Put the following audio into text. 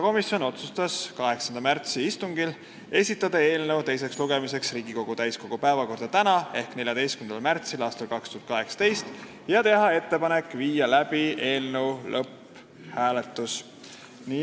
Komisjon otsustas esitada eelnõu teiseks lugemiseks Riigikogu täiskogu päevakorda tänaseks ehk 14. märtsiks ja teha ettepaneku viia läbi lõpphääletus.